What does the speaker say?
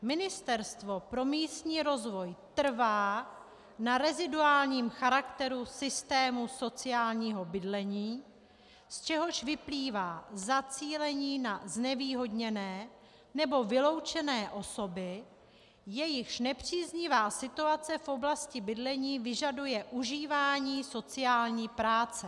Ministerstvo pro místní rozvoj trvá na reziduálním charakteru systému sociálního bydlení, z čehož vyplývá zacílení na znevýhodněné nebo vyloučené osoby, jejichž nepříznivá situace v oblasti bydlení vyžaduje užívání sociální práce.